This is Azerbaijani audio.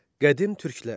Qədim Türklər.